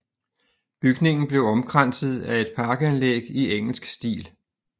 Bygningen blev omkranset af et parkanlæg i engelsk stil